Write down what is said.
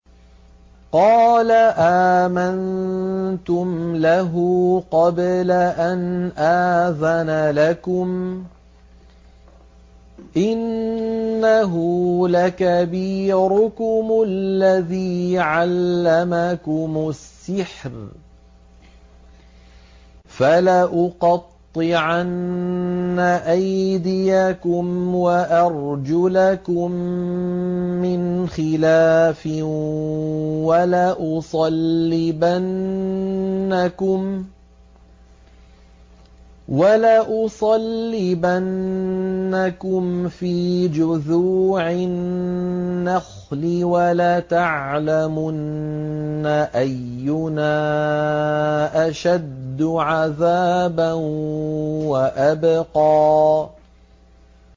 قَالَ آمَنتُمْ لَهُ قَبْلَ أَنْ آذَنَ لَكُمْ ۖ إِنَّهُ لَكَبِيرُكُمُ الَّذِي عَلَّمَكُمُ السِّحْرَ ۖ فَلَأُقَطِّعَنَّ أَيْدِيَكُمْ وَأَرْجُلَكُم مِّنْ خِلَافٍ وَلَأُصَلِّبَنَّكُمْ فِي جُذُوعِ النَّخْلِ وَلَتَعْلَمُنَّ أَيُّنَا أَشَدُّ عَذَابًا وَأَبْقَىٰ